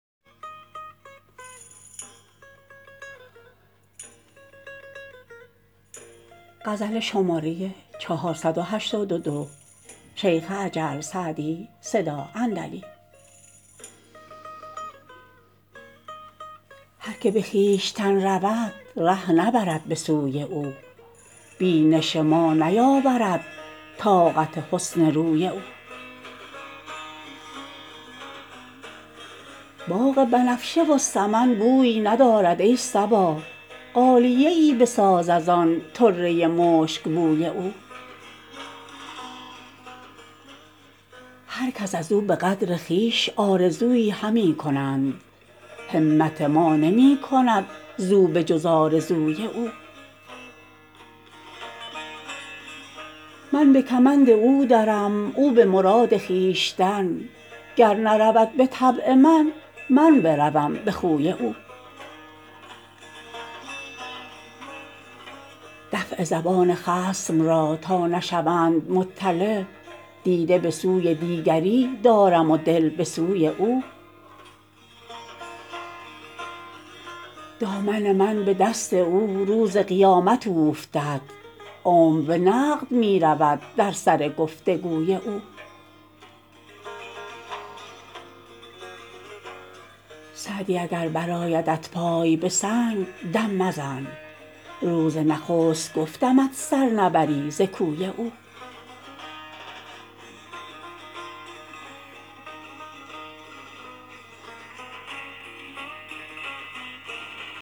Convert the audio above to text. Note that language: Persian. هر که به خویشتن رود ره نبرد به سوی او بینش ما نیاورد طاقت حسن روی او باغ بنفشه و سمن بوی ندارد ای صبا غالیه ای بساز از آن طره مشکبوی او هر کس از او به قدر خویش آرزویی همی کنند همت ما نمی کند زو به جز آرزوی او من به کمند او درم او به مراد خویشتن گر نرود به طبع من من بروم به خوی او دفع زبان خصم را تا نشوند مطلع دیده به سوی دیگری دارم و دل به سوی او دامن من به دست او روز قیامت اوفتد عمر به نقد می رود در سر گفت و گوی او سعدی اگر برآیدت پای به سنگ دم مزن روز نخست گفتمت سر نبری ز کوی او